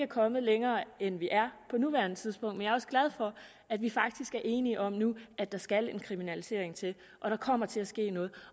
kommet længere end vi er på nuværende tidspunkt men jeg er også glad for at vi faktisk er enige om nu at der skal en kriminalisering til at der kommer til at ske noget